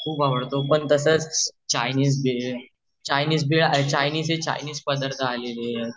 मला पण वडापाव खुप आवडतो पण तसच Chinese bhel Chinese bhel Chinese चे चाईनीस पदार्थ आलेले